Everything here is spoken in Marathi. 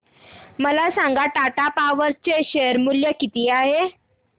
मला सांगा टाटा पॉवर चे शेअर मूल्य किती आहे